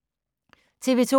TV 2